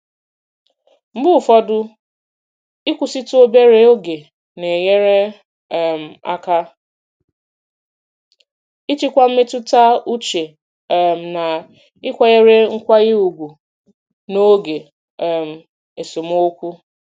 Mgbe ụfọdụ, ịkwụsịtụ obere oge na-enyere um aka ịchịkwa mmetụta uche um na ịkwanyere nkwanye ùgwù n'oge um esemokwu.